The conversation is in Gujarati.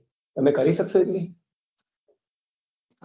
તમે કરી શકશો એટલી